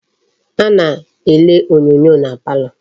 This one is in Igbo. A na-ele onyoonyo na palo.